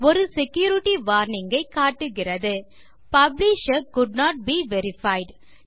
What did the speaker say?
ஒரு security warning ஐ காட்டுகிறது publisher could not be verified